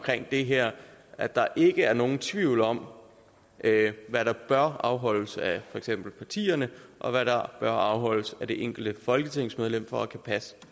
det her at der ikke er nogen tvivl om hvad der bør afholdes af for eksempel partierne og hvad der bør afholdes af det enkelte folketingsmedlem for at man kan passe